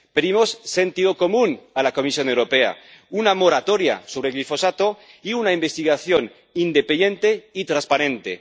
Pedimos sentido común a la Comisión Europea, una moratoria sobre el glifosato y una investigación independiente y transparente.